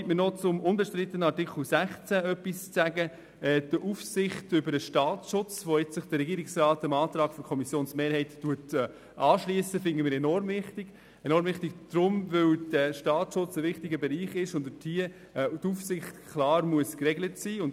Erlauben Sie mir noch, mich zum unbestrittenen Artikel 16, Kantonale Aufsichtsbehörde im Bereich des Staatsschutzes, zu äussern: Dass sich der Regierungsrat dem Antrag der Kommissionsmehrheit anschliesst, finden wir enorm wichtig, und zwar, weil der Staatsschutz ein wichtiger Bereich ist, dessen Aufsicht klar geregelt sein muss.